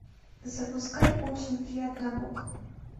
запускай очень приятно бог